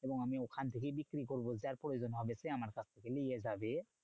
এবং আমি ওখান থেকেই বিক্রি করবো যার প্রয়োজন হবে সে আমার কাছ থেকে নিয়ে যাবে।